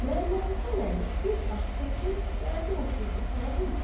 Məmmədhəsən əmi bir ah çəkib, gəldi oturdu palazın üstə.